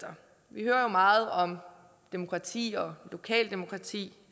vi hører jo meget om demokrati og lokaldemokrati